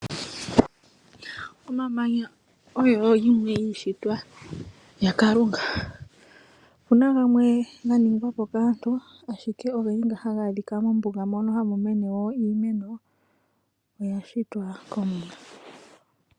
Omamanya oyo yimwe yiishitwa yaKalunga. Opu na gamwe ganingwa po kaantu ashike ogendji nga haga adhika mombuga hamu mene wo iimeno oya shitwa kOmuwa.